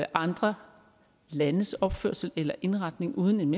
andre landes opførsel eller indretning uden en